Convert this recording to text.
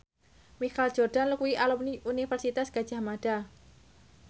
Michael Jordan kuwi alumni Universitas Gadjah Mada